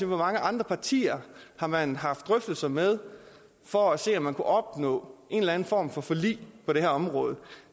hvor mange andre partier man har haft drøftelser med for at se om man kunne opnå en eller anden form for forlig på det her område